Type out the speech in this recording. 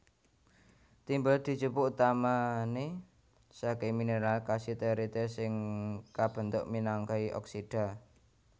Timbel dijupuk utamané sakai mineral cassiterite sing kabentuk minangkai oksida